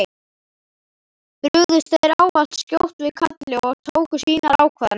Brugðust þeir ávallt skjótt við kalli og tóku sínar ákvarðanir.